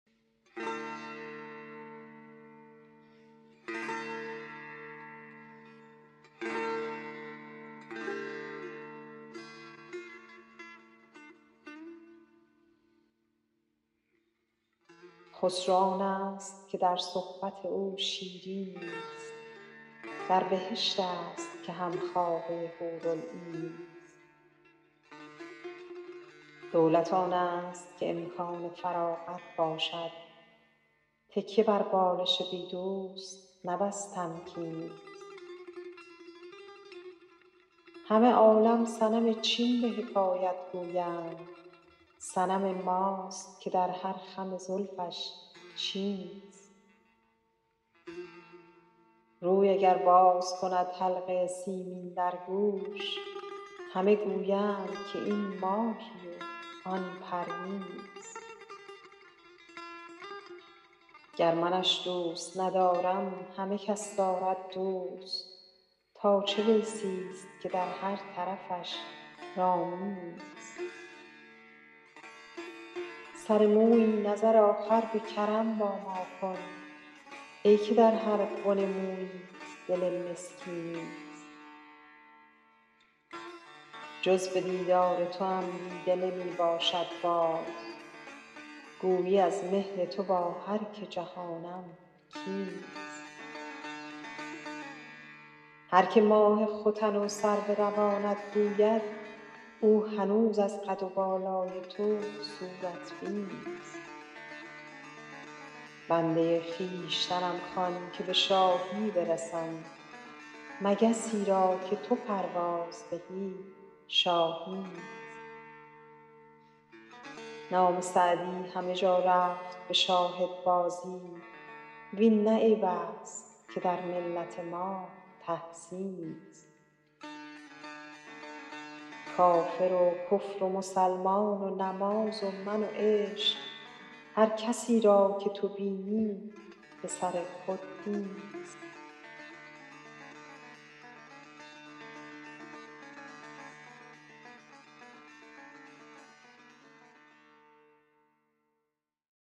خسرو آنست که در صحبت او شیرینی ست در بهشت است که هم خوابه حورالعینی ست دولت آنست که امکان فراغت باشد تکیه بر بالش بی دوست نه بس تمکینی ست همه عالم صنم چین به حکایت گویند صنم ماست که در هر خم زلفش چینی ست روی اگر باز کند حلقه سیمین در گوش همه گویند که این ماهی و آن پروینی ست گر منش دوست ندارم همه کس دارد دوست تا چه ویسی ست که در هر طرفش رامینی ست سر مویی نظر آخر به کرم با ما کن ای که در هر بن موییت دل مسکینی ست جز به دیدار توام دیده نمی باشد باز گویی از مهر تو با هر که جهانم کینی ست هر که ماه ختن و سرو روانت گوید او هنوز از قد و بالای تو صورت بینی ست بنده خویشتنم خوان که به شاهی برسم مگسی را که تو پرواز دهی شاهینی ست نام سعدی همه جا رفت به شاهدبازی وین نه عیب است که در ملت ما تحسینی ست کافر و کفر و مسلمان و نماز و من و عشق هر کسی را که تو بینی به سر خود دینی ست